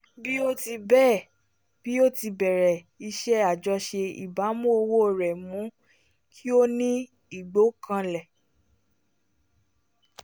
bí ó ti bẹ́ẹ̀ bí ó ti bẹ̀rẹ̀ iṣẹ́ àjọṣe ìbámu owó rẹ mú kí ó ní ìgbọ́kànlé